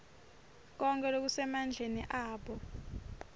konkhe lokusemandleni abo